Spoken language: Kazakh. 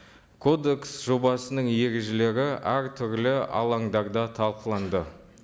кодекс жобасының ережелері әртүрлі алаңдарда талқыланды